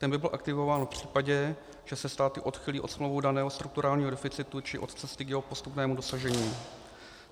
Ten by byl aktivován v případě, že se státy odchýlí od smlouvou daného strukturálního deficitu či od cesty k jeho postupného dosažení.